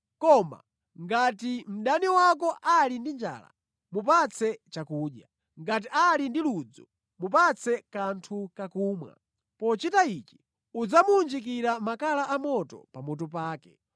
Koma, “Ngati mdani wako ali ndi njala, mupatse chakudya. Ngati ali ndi ludzu, mupatse kanthu kakumwa. Pochita ichi, udzamuwunjikira makala amoto pamutu pake.”